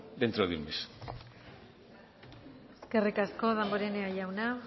dentro de un mes eskerrik asko damborenea jauna